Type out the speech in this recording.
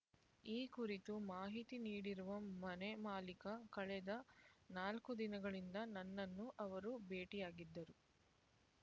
ಈ ಕುರಿತು ಮಾಹಿತಿ ನೀಡಿರುವ ಮನೆ ಮಾಲೀಕ ಕಳೆದ ನಾಲ್ಕು ದಿನಗಳಿಂದ ನನ್ನನ್ನು ಅವರು ಭೇಟಿಯಾಗಿದ್ದರು